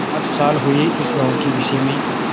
आठ साल हुए इस गॉँव के विषय में